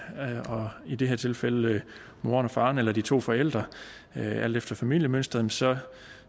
og i det her tilfælde moren og faren eller de to forældre alt efter familiemønstret så